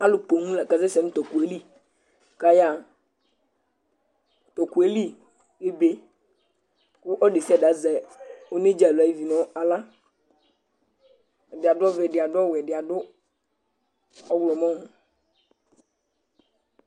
Alʋ pooom la ka sɛsɛ nʋ t'ɔkʋ yɛ li k'aya ha T'ɔkʋ yɛ li ebee kʋ ɔlʋ desiade azɛ onedza alo ay'uvi n'aɣla Ɛdi adʋ ɔvɛ, ɛdi adʋ ɔwɛ, ɛdi adʋ ɔɣlɔmɔ